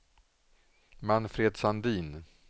Manfred Sandin